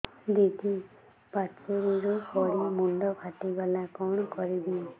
ଦିଦି ପାଚେରୀରୁ ପଡି ମୁଣ୍ଡ ଫାଟିଗଲା କଣ କରିବି